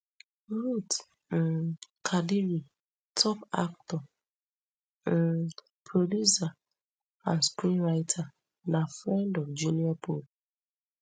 ruth um kadiri top actor um producer and screenwriter na friend of junior pope